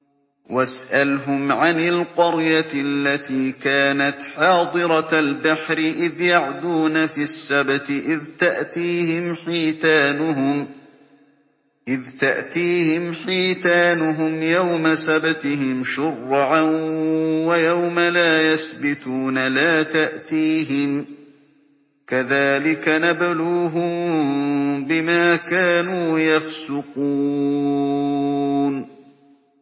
وَاسْأَلْهُمْ عَنِ الْقَرْيَةِ الَّتِي كَانَتْ حَاضِرَةَ الْبَحْرِ إِذْ يَعْدُونَ فِي السَّبْتِ إِذْ تَأْتِيهِمْ حِيتَانُهُمْ يَوْمَ سَبْتِهِمْ شُرَّعًا وَيَوْمَ لَا يَسْبِتُونَ ۙ لَا تَأْتِيهِمْ ۚ كَذَٰلِكَ نَبْلُوهُم بِمَا كَانُوا يَفْسُقُونَ